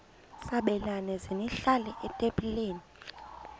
sabelani zenihlal etempileni